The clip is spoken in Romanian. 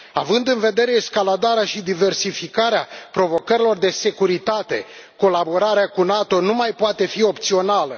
Având în vedere escaladarea și diversificarea provocărilor de securitate, colaborarea cu NATO nu mai poate fi opțională.